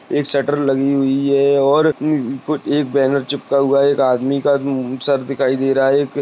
एक शटर लगी हुई है और उ अं एक बैनर चिपका हुआ है एक आदमी उम सर दिखाई दे रहा है।